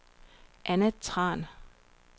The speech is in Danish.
Anna Tran